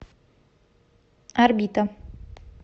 орбита